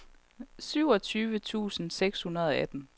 syvogtyve tusind seks hundrede og atten